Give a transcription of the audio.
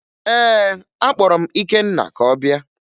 Ee, akpọrọ m Ikenna ka ọ bịa